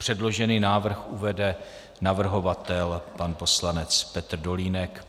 Předložený návrh uvede navrhovatel pan poslanec Petr Dolínek.